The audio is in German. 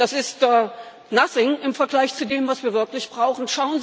Das ist nothing im Vergleich zu dem, was wir wirklich brauchen.